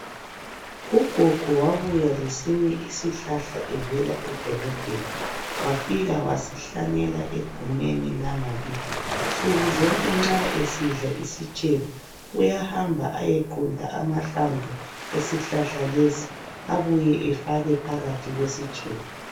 Ugogo wabuya lesinye isihlahla evela edolobheni wafika wasihlanyela egumeni langakithi nsukuzonke nxa esidla isitshebo uyahamba aye qunta amahlamvu esihlahla lesi abuye efake phakathi kwesitshebo.